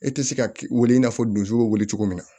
E tɛ se ka wele i n'a fɔ dusu bɛ weele cogo min na